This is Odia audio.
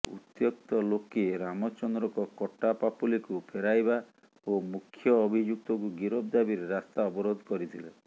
ଉତ୍ତ୍ୟକ୍ତ େଲାକେ ରାମଚନ୍ଦ୍ରଙ୍କ କଟା ପାପୁଲିକୁ ଫେରାଇବା ଓ ମୁଖ୍ୟ ଅଭିଯୁକ୍ତଙ୍କୁ ଗିରଫ ଦାବିରେ ରାସ୍ତା ଅବରୋଧ କରିଥିଲେ